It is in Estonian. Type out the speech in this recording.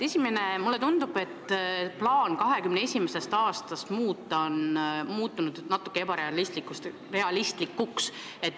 Esiteks, mulle tundub, et plaan olukorda 2021. aastast muuta on muutunud natuke ebarealistlikuks.